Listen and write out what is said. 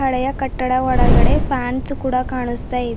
ಳಯ ಕಟ್ಟಡ ಒಳಗಡೆ ಪ್ಯಾನ್ಸ್ ಕೂಡ ಕಾಣಿಸ್ತಾ ಇದೆ.